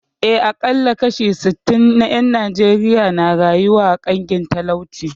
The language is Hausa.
Eh, aƙalla kashi sittin na ƴan Najeriya na rayuwa a ƙangin talauci